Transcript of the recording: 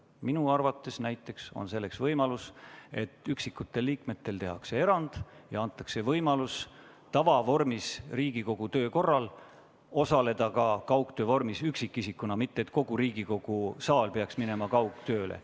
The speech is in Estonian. Minu arvates on näiteks võimalus, et üksikutele liikmetele tehakse erand ja neile antakse võimalus Riigikogu tavavormis töös osaleda kaugtöö vormis, mitte et kogu Riigikogu saal peaks minema üle kaugtööle.